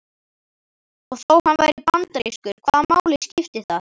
Og þó hann væri bandarískur, hvaða máli skipti það?